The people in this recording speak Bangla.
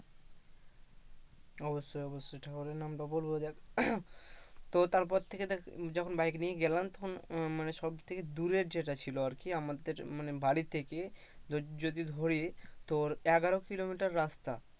অবশ্যই অবশ্যই ঠাকুরের নাম তো বলবো যাক তো তারপর থেকে দেখ bike নিয়ে গেলাম তখন মানে সব থেকে দূরের যেটা ছিল আর কি আমাদের মানে বাড়ি থেকে যদি ধরি তোর এগারো কিলোমিটার রাস্তা,